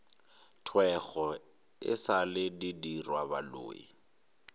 thwego e sa le didirwabaloi